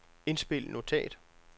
indspil notat